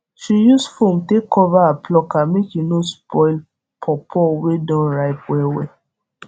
she use form take cover her plucker make e no spoil powpow wey don rip wellwell